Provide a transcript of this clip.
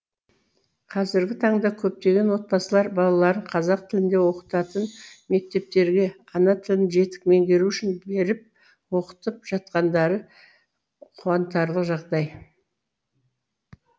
қазіргі таңда көптеген отбасылар балаларын қазақ тілінде оқытатын мектептерге ана тілін жетік меңгеру үшін беріп оқытып жатқандары қуантарлық жағдай